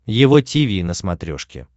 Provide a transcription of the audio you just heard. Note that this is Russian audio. его тиви на смотрешке